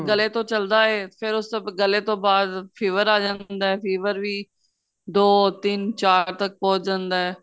ਗੱਲੇ ਤੋਂ ਚੱਲਦਾ ਏ ਫੇਰ ਉਸ ਤੋਂ ਗਲੇ ਤੋਂ ਬਾਅਦ fever ਆ ਜਾਂਦਾ fever ਵੀ ਦੋ ਤਿੰਨ ਚਾਰ ਤੱਕ ਪਹੁੰਚ ਜਾਂਦਾ